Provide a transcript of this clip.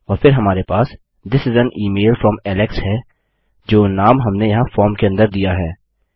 और फिर हमारे पास this is an email from Alex है जो नाम हमने यहाँ फार्म के अंदर दिया है